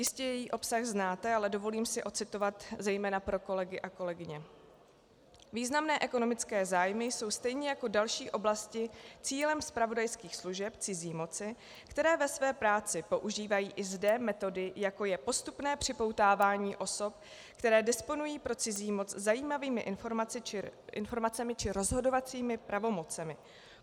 Jistě její obsah znáte, ale dovolím si ocitovat zejména pro kolegy a kolegyně: "Významné ekonomické zájmy jsou stejně jako další oblasti cílem zpravodajských služeb cizí moci, které ve své práci používají i zde metody, jako je postupné připoutávání osob, které disponují pro cizí moc zajímavými informacemi či rozhodovacími pravomocemi.